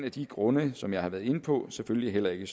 af de grunde som jeg har været inde på selvfølgelig heller ikke